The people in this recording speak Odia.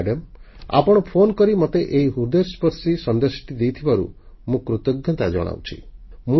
ମାଡାମ ଆପଣ ଫୋନ କରି ମୋତେ ଏହି ହୃଦୟସ୍ପର୍ଶୀ ସନ୍ଦେଶଟି ଦେଇଥିବାରୁ ମୁଁ କୃତଜ୍ଞତା ଜଣାଉଛି